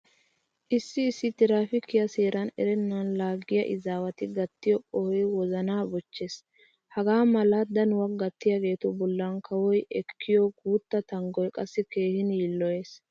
Issi issi tiraafiikiya seeraa erennan laaggiya izaawati gattiyo qohoy wozanaa bochchees. Hagaa mala danuwa gattiyageetu bollan kawoy ekkiyo guutta tanggoy qassi keehin yiilloyees.